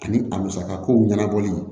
Ani a musaka kow ɲɛnabɔli